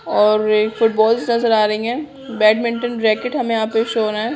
और फूटबॉल्स नजर आ रहा है बेडमिन्टन रैकेट यहाँ पर शो हो रहे है।